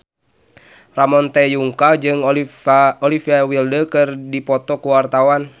Ramon T. Yungka jeung Olivia Wilde keur dipoto ku wartawan